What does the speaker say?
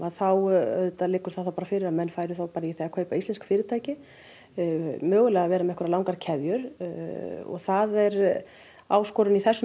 þá liggur það bara fyrir að menn færu bara í það að kaupa íslensk fyrirtæki mögulega vera með langar keðjur það er áskorun í þessum